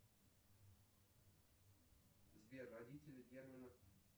сбер родители германа